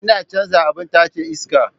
Ina canza abin tace iska.